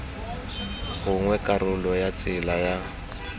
gongwe karolo ya tsela ya